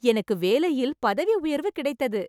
எனக்கு வேலையில் பதவி உயர்வு கிடைத்தது!